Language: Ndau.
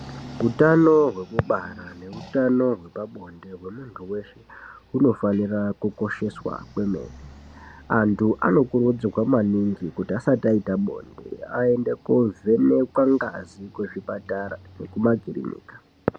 Hutano hwekubara, nehutano wekwabonde, gwemuntu wese gunofanirwa kukosheswa. Antu anokurudzigwe maningi kuti asati ayita bonde ende kuvhenekwa ngazi kuzvipatara ngekumakilinika.